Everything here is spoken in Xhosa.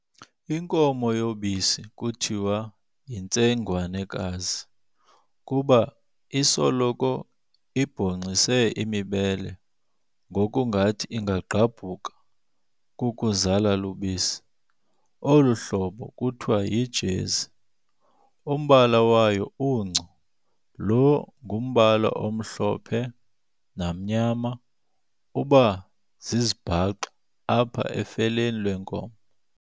Inkomo yobisi kuthiwa yintsengwanekazi kuba isoloko ibhongxise imibele ngokungathi ingagqabhuka kukuzala lubisi, olu hlobo kuhiwa yiJezi. Umbala wayo unco, lo ngumbala omhlophe namnyama, uba zizibhaxu apha efeleni lwenkomo.